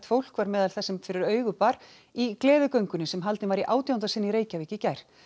fólk var meðal þess sem fyrir augu bar í gleðigöngunni sem haldin var í átjánda sinn í Reykjavík í gær